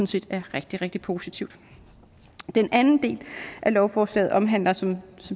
set er rigtig rigtig positivt den anden del af lovforslaget omhandler som